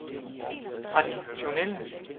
traditionelle